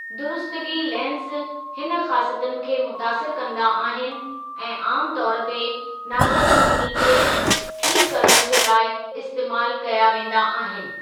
दुरुस्तगी lens हिन ख़ासियतुनि खे मुतासिर कंदा आहिनि ऐं आमतौरु ते नासाज़ुबीनी खे ठीकु करणु जे लाइ इस्तेमालु कया वेंदा आहिनि।